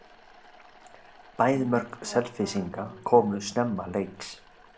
Bæði mörk Selfyssinga komu snemma leiks.